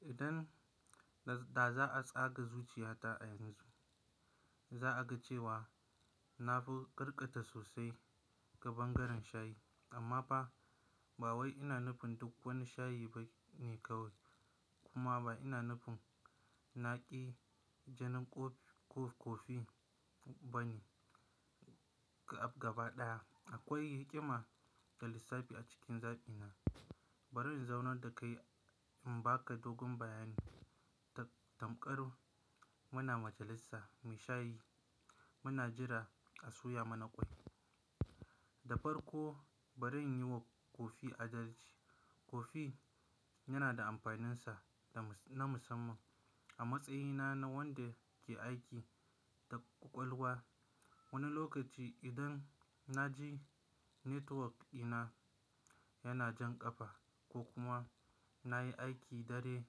Idan da za a tsaga zuciyata a yanzu, za a ga cewa na fi karkata sosai ga bangaren shayi. Amma ba, ba wai ina nufin duk wani shayi ba ne kawai, kuma ba ina nufin naƙi jinin kofi-kofi ba ne gaba ɗaya. Akwai hikima da lissafi a cikin zaɓina. Bari in zaunar da kai in baka dogon bayani. Tamkar muna majalisar mai shayi, muna jira a soya mana kwai. Da farko bari in yi wa kofi adalji. Kofi yana da amfaninsa na musamman a matsayina na wanda ke aiki da ƙwaƙwalwa. Wani lokaci idan na ji network ɗina yana jan ƙafa ko kuma na yi aiki dare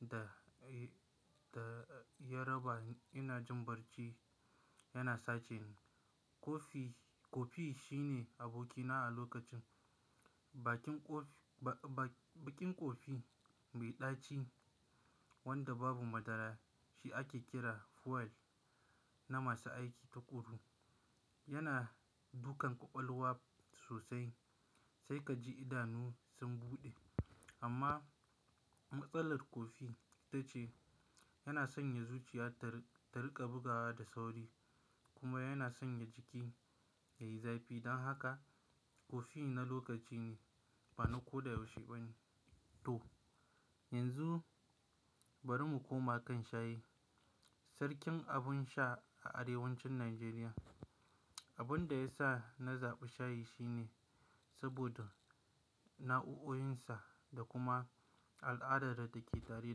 da, da ya raba ina jin barci yana sace ni, kofi-kofi shine abokina a lokacin. Baƙin kofi, ba baƙin kofi mai ɗaci wanda babu madara shi ake kira "fuel" na masu aiki takuru. Yana dukan ƙwaƙwalwa sosai sai ka ji idanu sun buɗe. Amma matsalar kofi ita ce yana sanya zuciya ta riƙa bugawa da sauri kuma yana sanya jiki yayi zafi. Dan haka kofi na lokaci ne ba na koda yaushe ba. To yanzu bari mu koma kan shayi. Sarkin abun sha a Arewacin Najeriya. Abin da yasa na zaɓi shayi shine saboda nau'o'insa da kuma al'adar da take tare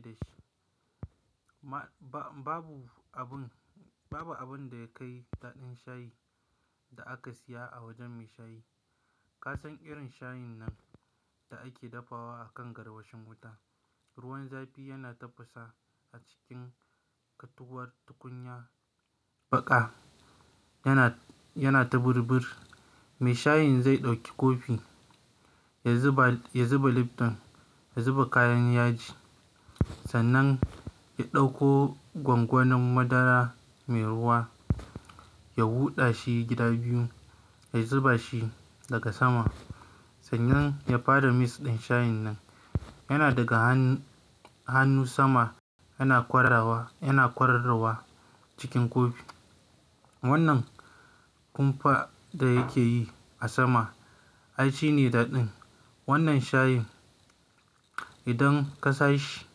dashi. Ma, babu abun, babu abun da ya kai daɗin shayi da aka saya a wajen mai shayi. Ka san irin shayin nan da ake dafawa a kan garwashin wuta. Ruwan zafi yana tafasa a cikin katuwar tukunya baƙa, yana, yana ta burbur. Mai shayin zai ɗauki kofi ya zuba, ya zuba Lipton, ya zuba kayan yaji. Sannan ya ɗauko gwangwanin madara mai ruwa ya huɗa shi gida biyu, ya zuba shi daga sama. Sannan ya fara mix ɗin shayin nan. Yana daga hannu sama yana kwarawa, yana kwararawa cikin kofi. Wannan kumfa da yakeyi a sama ai shine daɗin. Wannan shayin idan kasha shi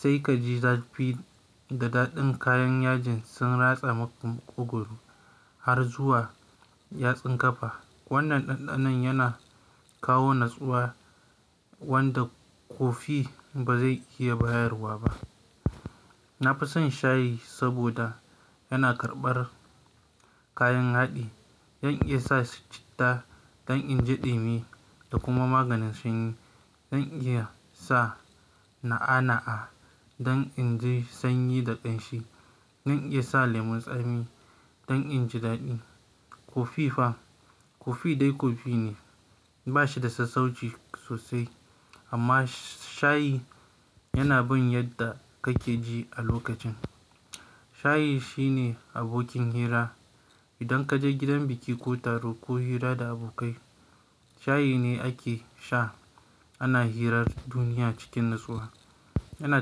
sai ka ji zafi da daɗin kayan yajin sun ratsa muka maƙogoro har zuwa yatsan ƙafa. Wannan ɗanɗanon yana kawo natsuwa wanda kofi ba zai iya bayarwa ba. Na fi son shayi saboda yana karɓar kayan haɗi. Zan iya sa citta don inji ɗimi da kuma maganin sanyi. Zan iya sa na'a-na'a don in ji sanyi da ƙanshi. Zan iya sa lemun tsami don inji daɗi. Kofi fa? Kofi dai kofi ne. Ba shi da sassauci sosai. Amma shayi yana bin yadda kake ji a lokacin. Shayi shine abokin hira. Idan kaje gidan biki ko taro ko hira da abokai, shayi ne ake sha. Ana hirar duniya cikin natsuwa. Yana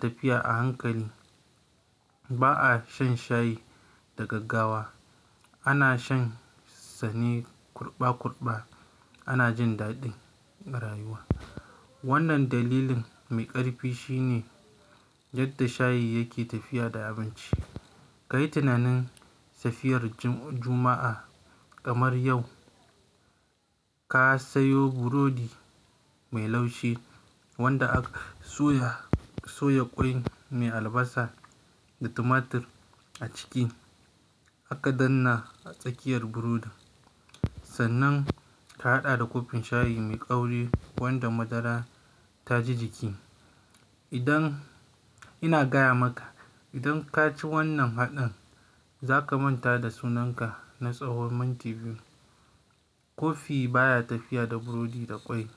tafiya a hankali. Ba'a shan shayi da gaggawa. Ana shan sane kurɓa-kurɓa. Ana jin daɗin rayuwa. Wannan dalilin mai ƙarfi shine yadda shayi yake tafiya da abinci. Ka yi tunanin safiyar juma'a kamar yau. Ka sayo burodi mai laushi wanda aka soya, soya ƙwai mai albasa da tumatir a ciki aka danna a tsakiyar burodin. Sannan ka haɗa da kofin shayi mai ƙauri wanda madara ta ji jiki. Idan ina gaya maka idan kaci wannan haɗin za ka manta da sunanka na tsawon minti biyu. Kofi baya tafiya da burodi da ƙwai.